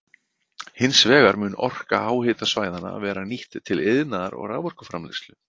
Hins vegar mun orka háhitasvæðanna verða nýtt til iðnaðar og raforkuframleiðslu.